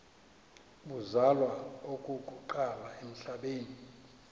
uzalwa okokuqala emhlabeni